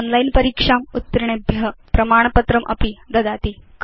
online परीक्षाम् उत्तीर्णेभ्य प्रमाणपत्रमपि ददाति